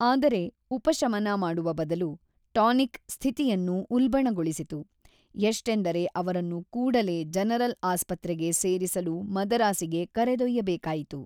ಆದರೆ ಉಪಶಮನ ಮಾಡುವ ಬದಲು, ಟಾನಿಕ್ ಸ್ಥಿತಿಯನ್ನು ಉಲ್ಪಣಗೊಳಿಸಿತು, ಎಷ್ಟೆಂದರೆ ಅವರನ್ನು ಕೂಡಲೇ ಜನರಲ್ ಆಸ್ಪತ್ರೆಗೆ ಸೇರಿಸಲು ಮದರಾಸಿಗೆ ಕರೆದೊಯ್ಯಬೇಕಾಯಿತು.